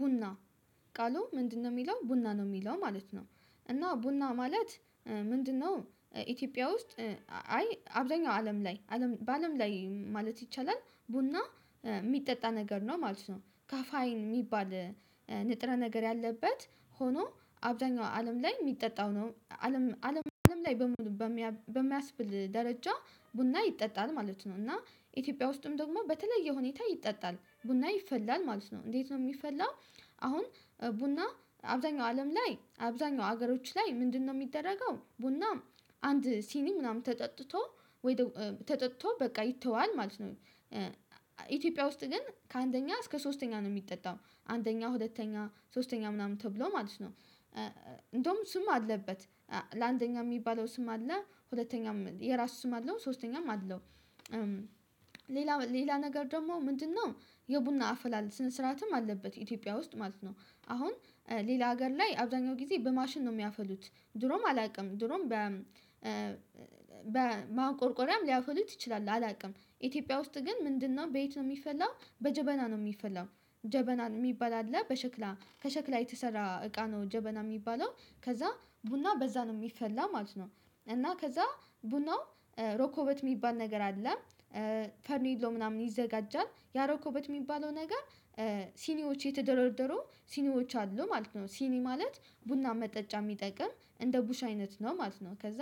ቡና ቃሉ ምንድነው የሚለው ቡና ነው የሚለው ማለት ነው እና ቡና ማለት ምንድነው? ኢትዮጵያ ውስጥ አይ አብዛኛው አለም ላይ በአለም ላይ ማለት ይቻላል ቡና የሚጠጣ ነገር ነው ማለት ነው። ካፋይን የሚባል ንጥረ ነገር ያለበት ሆኖ አብዛኛው አለም ላይ የሚጠጣው ነው አለም አለም አለም ላይ በሙሉ በሚያስብል ደረጃ ቡና ይጠጣል ማለት ነው። እና ኢትዮጵያ ውስጥም ደግሞ በተለየ ሁኔታ ይጠጣል ቡና ይፈላል ማለት ነው። እንዴት ነው የሚፈላው? አሁን ቡና አብዛኛው አለም ላይ አብዛኛው ሀገሮች ላይ ምንድነው የሚደረገው ቡናም አንድ ሲኒም ምናምን ተጠጥቶ ወይ ደግሞ ተጠጥቶ በቃ ይተዋል ማለት ነው። ኢትዮጵያ ውስጥ ግን ከአንደኛ እስከ ሶስተኛ ነው የሚጠጣው አንደኛ ሁለተኛ ሶስተኛ ምናምን ተብሎ ማለት ነው። እንደውም ስም አለበት ለአንደኛ የሚባለው ስም አለ ሁለተኛም የራሱ ስም አለው ሶስተኛም አለው። ሌላ ሌላ ነገር ደግሞ ምንድነው? የቡና አፈላል ስነ ስርዓትም አለበት ኢትዮጵያ ውስጥ ማለት ነው። አሁን ሌላ ሀገር ላይ አብዛኛው ጊዜ በማሽን ነው የሚያፈሉት ድሮም አላውቅም ድሮም። በማቆርቆሪያም ሊያፈሉት ይችላሉ አላውቅም ኢትዮጵያ ውስጥ ግን ምንድነው ቤት ነው የሚፈላው በጀበና ነው የሚፈላው። ጀበና የሚባል አለ በሸክላ ከሸክላ የተሰራ እቃ ነው ጀበና የሚባለው። ከዛ ቡና በዛ ነው የሚፈላ ማለት ነው እና ከዛ ቡናው ሮኮበት የሚባል ነገር አለ። ፈርሜሎ ምናምን ይዘጋጃል ያ ሮኮበት የሚባለው ነገር። ሲኒዎች የተደረደሩ ሲኒዎች አሉ ማለት ነው ሲኒ ማለት ቡና መጠጫ የሚጠቅም እንደ ቡሽ አይነት ነው ማለት ነው። ከዛ